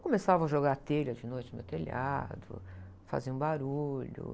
Começavam a jogar telha de noite no meu telhado, faziam barulho.